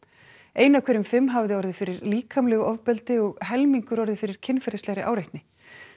ein af hverjum fimm hafði orðið fyrir líkamlegu ofbeldi og helmingur orðið fyrir kynferðislegri áreitni